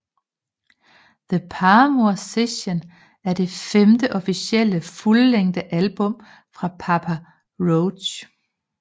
The Paramour Sessions er det femte officielle fuldlængde album fra Papa Roach